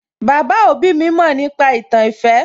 Baba òbí mi mọ̀ nípa ìtàn ìfẹ́